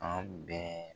An bɛɛ